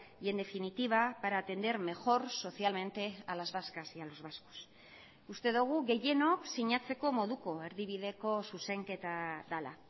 y en definitiva para atender mejor socialmente a las vascas y a los vascos uste dugu gehienok sinatzeko moduko erdibideko zuzenketa dela